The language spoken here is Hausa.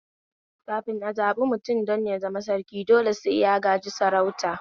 Kafin a zaɓi mutum don ya zama Sarki dole sai ya gaji sarauta